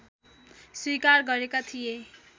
स्वीकार गरेका थिए